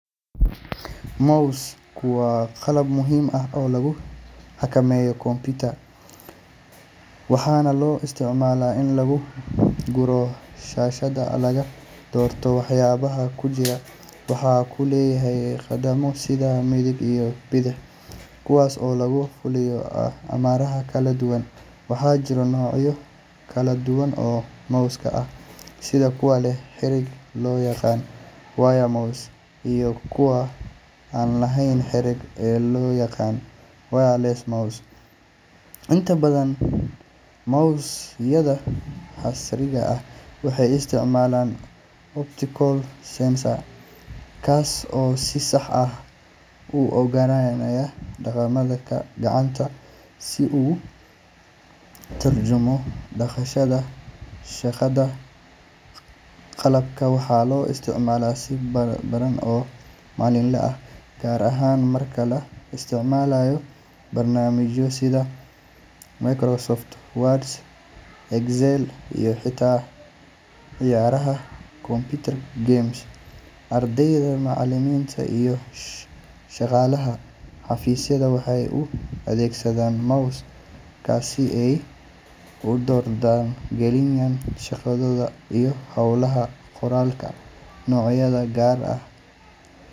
Mouse-ku waa qalab muhiim ah oo lagu xakameeyo computer-ka, waxaana loo isticmaalaa in lagu guuro shaashadda lana doorto waxyaabaha ku jira. Waxa uu leeyahay badhamo, sida midig iyo bidix, kuwaas oo lagu fuliyo amarrada kala duwan. Waxaa jira noocyo kala duwan oo mouse ah sida kuwa leh xarig loo yaqaan wired mouse iyo kuwa aan lahayn xarig ee loo yaqaan wireless mouse. Inta badan mouse-yada casriga ah waxay isticmaalaan optical sensor, kaas oo si sax ah u ogaanaya dhaqdhaqaaqa gacanta si uu ugu turjumo dhaqdhaqaaq shaashadda. Qalabkan waxaa la isticmaalaa si ballaaran oo maalinle ah, gaar ahaan marka la isticmaalayo barnaamijyo sida Microsoft Word, Excel, iyo xitaa ciyaaraha computer games. Ardayda, macallimiinta, iyo shaqaalaha xafiisyada waxay u adeegsadaan mouse-ka si ay u dardar geliyaan shaqadooda iyo hawlaha qoraalka. Noocyada qaar.